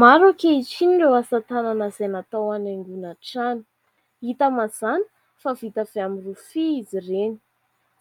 Maro ankehitriny ireo asatanana izay natao hanaingona trano ; hita mazana fa vita avy amin'ny rofia izy ireny.